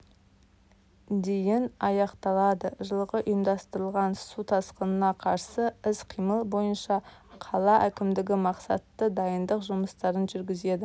дейін аяқталады жылғы ұйымдастырылған су тасқынына қарсы іс-қимыл бойынша қала әкімдігі мақсатты дайындық жұмыстарын жүргізеді